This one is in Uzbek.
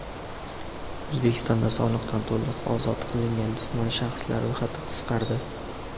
O‘zbekistonda soliqdan to‘liq ozod qilingan jismoniy shaxslar ro‘yxati qisqardi.